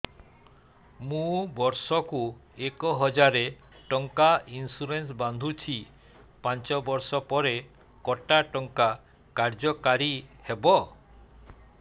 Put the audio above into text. ମୁ ବର୍ଷ କୁ ଏକ ହଜାରେ ଟଙ୍କା ଇନ୍ସୁରେନ୍ସ ବାନ୍ଧୁଛି ପାଞ୍ଚ ବର୍ଷ ପରେ କଟା ଟଙ୍କା କାର୍ଯ୍ୟ କାରି ହେବ